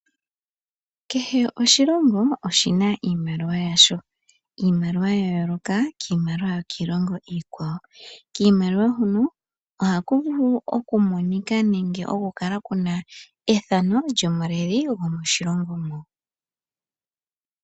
Kehe oshilongo oshina iimaliwa yasho. Iimaliwa ya yooloka kiimaliwa yokiilongo iikwawo. Kiimaliwa huno oha ku vulu okumonika nenge okukala kuna ethano lyomuleli go moshilongo moka.